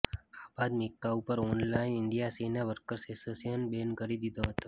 આ બાદ મિકા ઉપર ઓલ ઇન્ડિયા સીને વર્કર્સ એસોશિએશને બેન કરી દીધો હતો